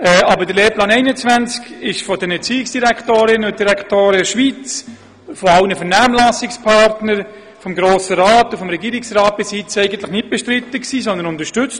Aber der Lehrplan 21 war von den Erziehungsdirektorinnen und -direktoren der Schweiz, von allen Vernehmlassungspartnern, vom Grossen Rat und vom Regierungsrat bisher eigentlich nicht bestritten, sondern wurde unterstützt.